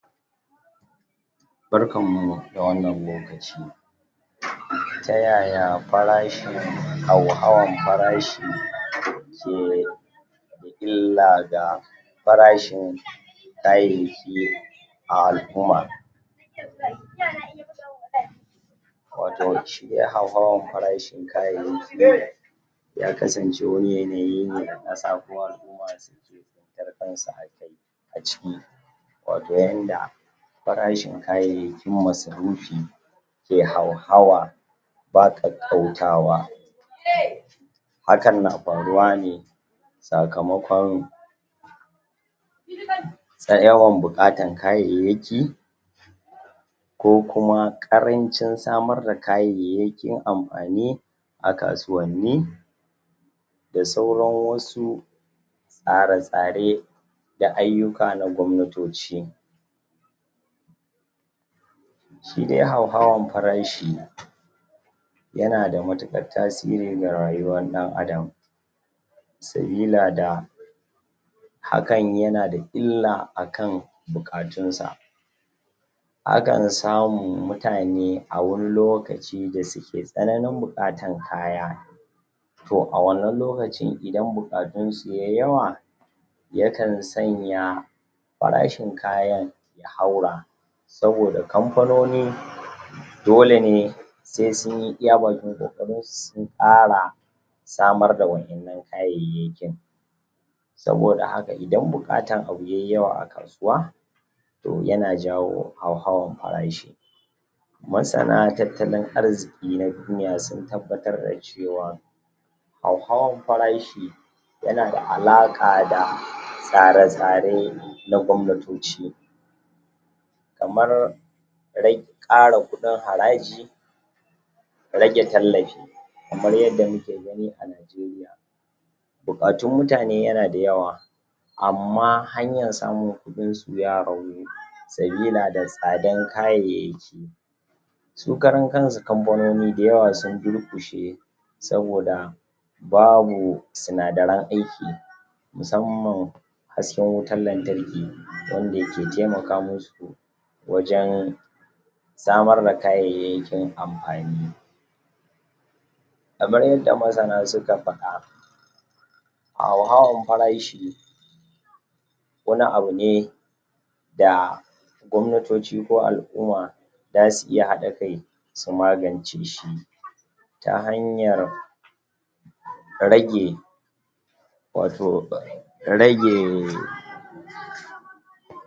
barkanmu da wannan lokaci tayaya farashin hauhawan farashi ke illa ga farashin kayayyaki a al'uma wato shi hauhawan farashin kayayyaki ya kasance wani yanayi ne a ƙasa ko al'uma dan kar su addabi a ciki wato yanda farashin kayayyakin masarufi ke hauhawa ba ƙaƙƙautawa hakan na faruwa ne sakamakon yawan buƙatar kayayyaki ko kuma ƙaranci samar da kayayyaƙin amfani a kasuwanni da sauran wasu tsare tsare da aiyuka na gwamnatoci shi dai hauhawan farashi yana da matuƙar tasiri ga rayuwar dan adam sabila da hakan yana da illa akan buƙatunsa akan samu mutane a wani lokaci da suke tsananin buƙatar kaya to a wannan lokaci idan buƙantun su yayi yawa yakan sanya farashin kayan su haura saboda kamfano ni dole ne sai sunyi iya bakin ƙoƙarinsu sun ƙara samar da wa innan kayayyakin saboda haka idan buƙatar abu yayi yawa a kasuwa to yana jawo hauhawan farashi masana tattalin arziki na duniya sun tabbatar da cewa hauhawan farashi yana da alaka da tsare tsare na gwamnatoci kamar kara kuɗin haraji rage tallafi kamar yanda muke gani a nigeria buƙatun mutane yana da yawa amma hanyar samun kuɗinsu ya ragu sabila da tsadan kayayyaki su karan kansu kanfanoni da yawa sun durkushe saboda babu sinadaran aiki musamman hasken wutan lantarki wanda yake taimaka musu wajan samar da kayayyakin amfani kamar yanda masana suka fada hauhawan farashi wani abune da gwamnatoci ko al'uma zasu iya haɗa kai su magance shi ta hanyar rage wato rage